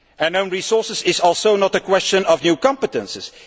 Own resources is also not a question of new competences.